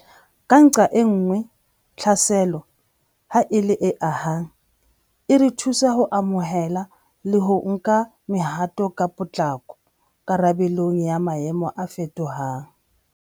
Ka nqae nngwe, tlhaselo, ha e le e ahang, e re thusa ho amohela le ho nka mehato ka potlako karabelong ya maemo a fetohang.